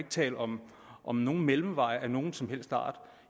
tale om om nogen mellemveje af nogen som helst art